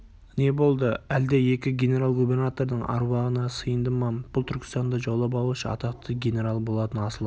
не болды әлде екі генерал-губернатордың аруағына сыйынды ма бұл түркістанды жаулап алушы атақты генерал болатын асылы